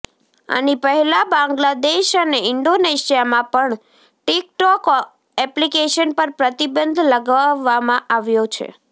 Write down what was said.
આની પહેલા બાંગ્લાદેશ અને ઈન્ડોનેશિયામાં પણ ટિક ટોક એપ્લિકેશન પર પ્રતિબંધ લગાવવામાં આવ્યો છે